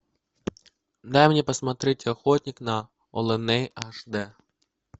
дай мне посмотреть охотник на оленей аш д